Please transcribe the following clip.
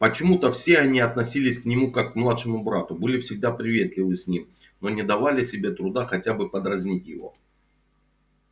почему-то все они относились к нему как к младшему брату были всегда приветливы с ним но не давали себе труда хотя бы подразнить его